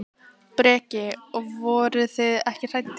Breki: Og, og voruð þið hræddir?